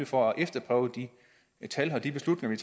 for at efterprøve de tal og de beslutninger